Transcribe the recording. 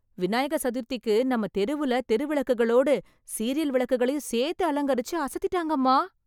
விநாயக சதுர்த்திக்கு நம்ம தெருவுல தெருவிளக்குகளோடு சீரியல் விளக்குகளையும் சேர்த்து அலங்கரிச்சு அசத்திட்டாங்கம்மா.